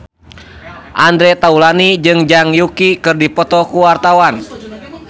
Andre Taulany jeung Zhang Yuqi keur dipoto ku wartawan